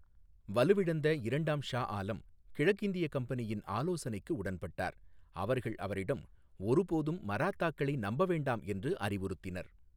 வலுவிழந்த இரண்டாம் ஷா ஆலம் கிழக்கிந்திய கம்பெனியின் ஆலோசனைக்கு உடன்பட்டார், அவர்கள் அவரிடம் ஒருபோதும் மராத்தாக்களை நம்பவேண்டாம் என்று அறிவுறுத்தினர்.